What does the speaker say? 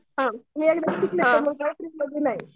मी एकदा शिकले तर नाही.